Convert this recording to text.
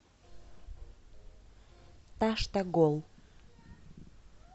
таштагол